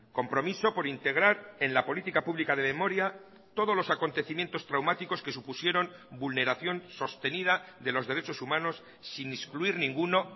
compromiso por integrar en la política pública de memoria todos los acontecimientos traumáticos que supusieron vulneración sostenida de los derechos humanos sin excluir ninguno